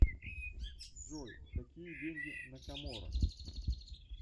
джой какие деньги на коморах